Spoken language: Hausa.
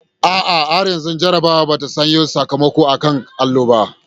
A'a, har yanzu jarrabawar ba ta sanya sakamakon a kan allo ba.